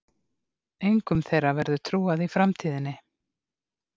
Engum þeirra verður trúað í framtíðinni.